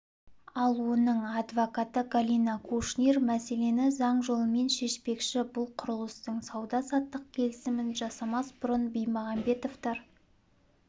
ал оның адвокаты галина кушнир мәселені заң жолымен шешепекші бұл құрылыстың сауда-саттық келісімін жасамас бұрын бимағанбетовтар